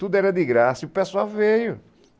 Tudo era de graça e o pessoal veio.